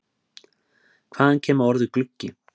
Hvaðan kemur orðið gluggi?